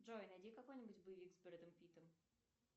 джой найди какой нибудь боевик с бредом питом